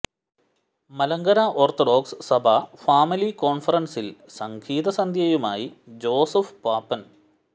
Malankara orthodox സഭ family കോൺഫറൻസിൽ സംഗീത സന്ധ്യയുമായി ജോസഫ് പാപ്പൻ